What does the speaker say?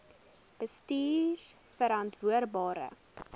bestuurverantwoordbare